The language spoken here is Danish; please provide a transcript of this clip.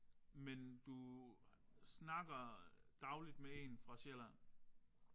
Men du snakker dagligt med én fra Sjælland?